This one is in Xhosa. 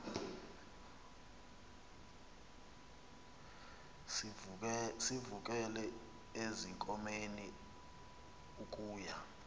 sivukele ezinkomeni ukuya